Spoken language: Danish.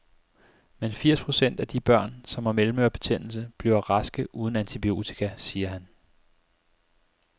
Men firs procent af de børn, som har mellemørebetændelse, bliver raske uden antibiotika, siger han.